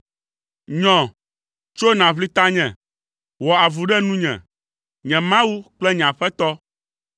Nyɔ, tso nàʋli tanye! Wɔ avu ɖe nunye, nye Mawu kple nye Aƒetɔ.